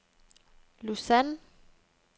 Lausanne